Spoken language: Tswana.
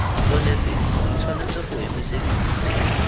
onetseng di tshwanetse go emisediwa